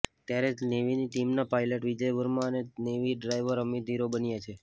ત્યારે નેવીની ટીમના પાયલટ વિજય વર્મા અને નેવી ડાઈવર અમિત હીરો બન્યા છે